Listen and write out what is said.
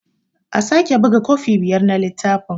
A sake buga kofi biyar na littafin.